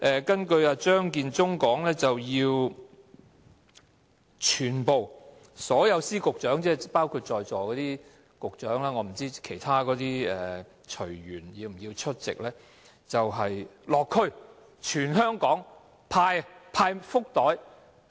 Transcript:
根據張建宗所說，所有司局長，包括在座的局長也要落區，我不清楚其他隨員是否也要落區，在全香港各區派發福袋。